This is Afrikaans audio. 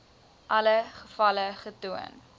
alle gevalle getoon